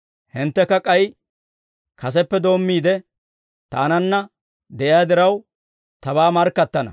Hinttekka k'ay kaseppe doommiide, Taananna de'iyaa diraw, Tabaa markkattana.